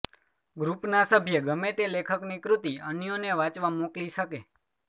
ગ્રૂપના સભ્ય ગમે તે લેખકની કૃતિ અન્યોને વાંચવા મોકલાવી શકે